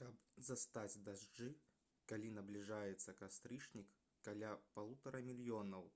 каб застаць дажджы калі набліжаецца кастрычнік каля 1,5 мільёнаў